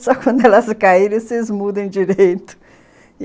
Só que quando elas caíram, vocês mudam direito.